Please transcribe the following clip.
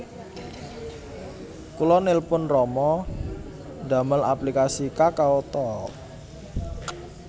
Kula nelpon rama ndamel aplikasi KakaoTalk